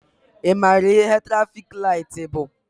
Ị maara ihe trafik laịtị bụ?